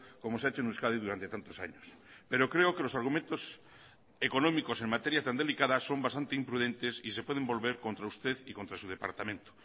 como se ha hecho en euskadi durante tantos años pero creo que los argumentos económicos en materia tan delicada son bastante imprudentes y se pueden volver contra usted y contra su departamento